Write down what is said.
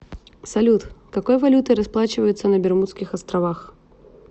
салют какой валютой расплачиваются на бермудских островах